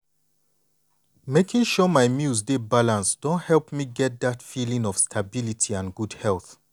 making sure my meals dey balanced don help me get dat feeling of stability and good health.